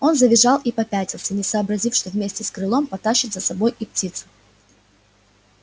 он завизжал и попятился не сообразив что вместе с крылом потащит за собой и птицу